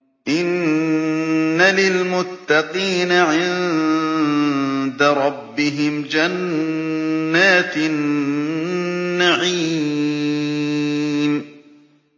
إِنَّ لِلْمُتَّقِينَ عِندَ رَبِّهِمْ جَنَّاتِ النَّعِيمِ